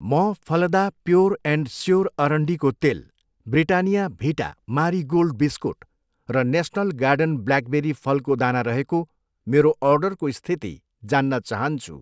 म Phalada pure and sure अरन्डीको तेल, ब्रिटानिया भिटा मारी गोल्ड बिस्कुट र नेसनल गार्डन ब्ल्याकबेरी फलको दाना रहेको मेरो अर्डरको स्थिति जान्न चाहन्छु।